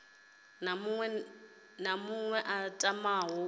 na muṅwe a tamaho u